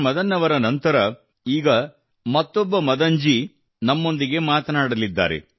ಮದನ್ ಅವರ ನಂತರ ಈಗ ನಾವು ಮತ್ತೊಬ್ಬ ಮದನ್ ಜಿ ನಮ್ಮೊಂದಿಗೆ ಮಾತನಾಡಲಿದ್ದಾರೆ